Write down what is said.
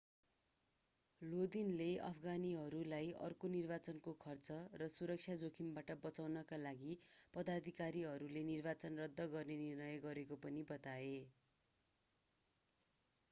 लोदिनले अफगानीहरूलाई अर्को निर्वाचनको खर्च र सुरक्षा जोखिमबाट बचाउनका लागि पदाधिकारीहरूले निर्वाचन रद्द गर्ने निर्णय गरेको पनि बताए